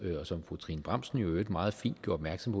fru trine bramsen jo i øvrigt meget fint gjorde opmærksom